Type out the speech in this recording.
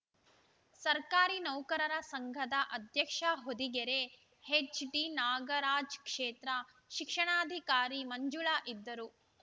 ಸರ್ಕಾರಿ ನೌಕರರ ಸಂಘದ ಅಧ್ಯಕ್ಷ ಹೊದಿಗೆರೆ ಎಚ್‌ಡಿನಾಗರಾಜ್‌ ಕ್ಷೇತ್ರ ಶಿಕ್ಷಣಾಧಿಕಾರಿ ಮಂಜುಳಾ ಇದ್ದರು